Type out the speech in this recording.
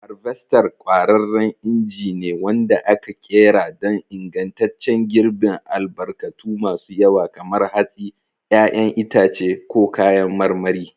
Harvester ƙwararren inji ne wanda aka ƙera don ingantaccen girbin albarkatu masu yawa kamar hatsi, 'ya'yan itace, ko kayan marmari.